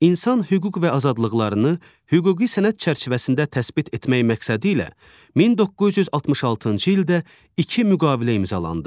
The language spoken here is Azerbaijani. İnsan hüquq və azadlıqlarını hüquqi sənəd çərçivəsində təsbit etmək məqsədilə 1966-cı ildə iki müqavilə imzalandı.